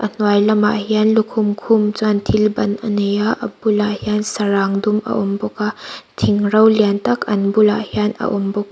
hnuai lamah hian lukhum khum chuan thil ban anei a a bulah hian sarang dum a awm bawk a thing ro liantak an bulah hian a awm bawk.